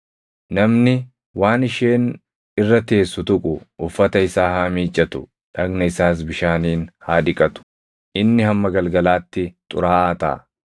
Namni waan isheen irra teessu tuqu uffata isaa haa miiccatu; dhagna isaas bishaaniin haa dhiqatu; inni hamma galgalaatti xuraaʼaa taʼa.